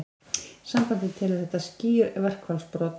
Sambandið telur þetta skýr verkfallsbrot